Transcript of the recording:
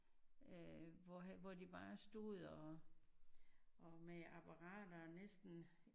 øh hvor hvor de bare stod og og med apparater næsten